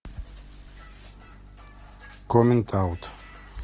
коммент аут